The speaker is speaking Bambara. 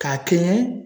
K'a kɛɲɛ